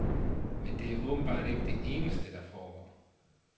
Men det er åbenbart ikke det eneste, der foregår.